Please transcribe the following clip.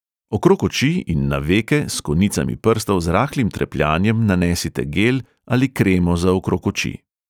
Okrog oči in na veke s konicami prstov z rahlim trepljanjem nanesite gel ali kremo za okrog oči.